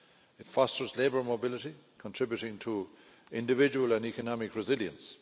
It fosters labour mobility, contributing to individual and economic resilience.